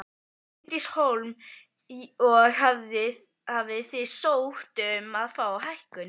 Bryndís Hólm: Og hafið þið sótt um að fá hækkun?